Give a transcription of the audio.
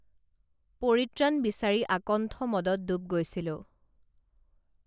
পৰিত্ৰাণ বিচাৰি আকণ্ঠ মদত ডুব গৈছিলো